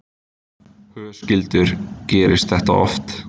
Höskuldur: Gerist þetta oft?